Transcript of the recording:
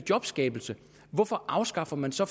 jobskabelsen hvorfor afskaffer man så